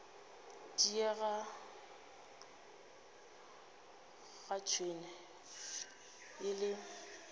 diega ga tšhwene e le